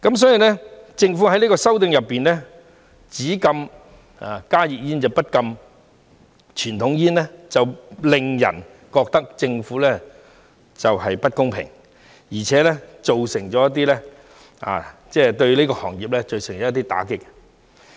所以，政府在這項修訂中，只禁止加熱煙，不禁傳統煙，令人覺得政府不公平，而且會對這個行業造成一些打擊。